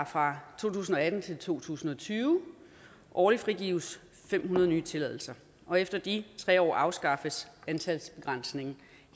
fra to tusind og atten til to tusind og tyve årligt frigives fem hundrede nye tilladelser og efter de tre år afskaffes antalsbegrænsningen